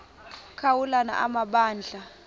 ka ulana amabandla